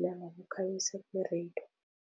nangokukhangisa kwe-radio.